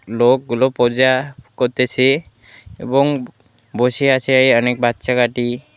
লোকগুলো পোজা করতেছে এবং বসে আছে অনেক বাচ্চা কাটি।